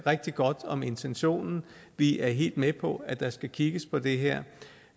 rigtig godt om intentionen vi er helt med på at der skal kigges på det her